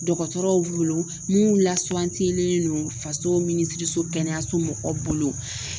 Dɔgɔtɔrɔw b'u bolo minnu lasuwantilen don faso minisiriso kɛnɛyaso mɔgɔw bolo